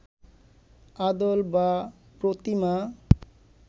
আদল বা প্রতিমা